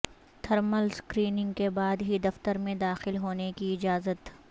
thermal screening کے بعد ہی دفتر میں داخل ہونے کی اجازت